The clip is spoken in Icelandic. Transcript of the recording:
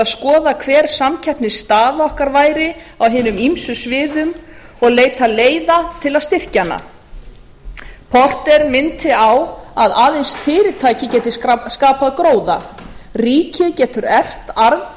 skoða hver samkeppnisstaða okkar væri á hinum ýmsu sviðum og leita leiða til að styrkja hana porter minnti á að aðeins fyrirtæki gætu skapað gróða ríkið getur eflt arð